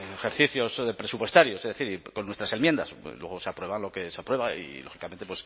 ejercicios presupuestarios es decir con nuestras enmiendas y luego se aprueba lo que se aprueba y lógicamente